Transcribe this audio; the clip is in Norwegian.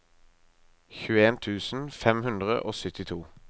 tjueen tusen fem hundre og syttito